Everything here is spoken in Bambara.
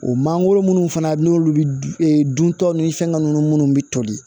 O mangoro minnu fana n'olu dun taw ni fɛnkɛ ninnu munnu bi toli